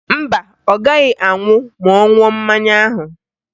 Mba, ọ gaghị anwụ ma ọ ṅụọ mmanya ahụ